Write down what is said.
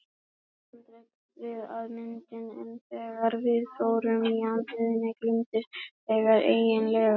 Það var handrit að myndinni en þegar við fórum í atriðin gleymdist það eiginlega.